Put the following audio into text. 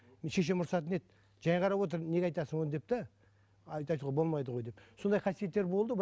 шешем ұрысатын еді жай қарап отыр неге айтасың оны деп те айтуға болмайды ғой деп сондай қасиеттер болды